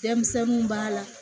Denmisɛnninw b'a la